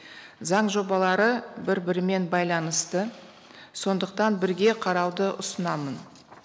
заң жобалары бір бірімен байланысты сондықтан бірге қарауды ұсынамын